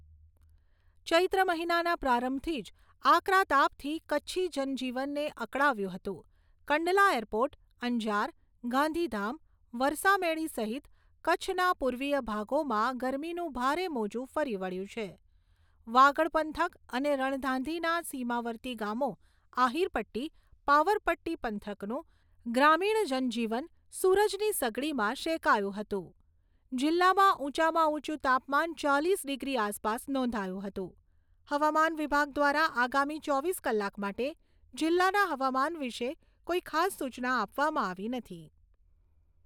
ચૈત્ર મહિનાના પ્રારંભથી જ આકરા તાપથી કચ્છી જનજીવનને અકળાવ્યું હતું કંડલા એરપોર્ટ, અંજાર, ગાંધીધામ, વરસામેડી સહિત કચ્છના પૂર્વીય ભાગોમાં ગરમીનું ભારે મોજુ ફરી વળ્યુ છે. વાગડ પંથક અને રણધાંધીના સીમાવર્તી ગામો આહીરપટ્ટી, પાવરપટ્ટી પંથકનું ગ્રામીણ જનજીવન સૂરજની સગડીમાં શેકાયું હતું. જિલ્લામાં ઉંચામાં ઉંચુ તાપમાન ચાલીસ ડિગ્રી આસપાસ નોંધાયું હતું. હવામાન વિભાગ દ્વારા આગામી ચોવીસ કલાક માટે જિલ્લાના હવામાન વિશે કોઈ ખાસ સુચના આપવામાં આવી નથી